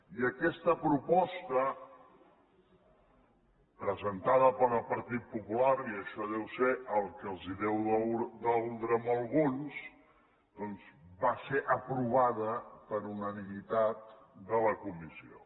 i aquesta proposta presentada pel partit popular i això deu ser el que els deu doldre a alguns doncs va ser aprovada per unanimitat de la comissió